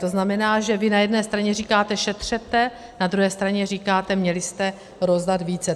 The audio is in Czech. To znamená, že vy na jedné straně říkáte šetřete, na druhé straně říkáte - měli jste rozdat více.